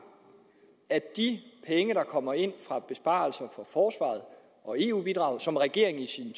at de penge der kommer ind fra besparelser på forsvaret og eu bidraget og som regeringen i sin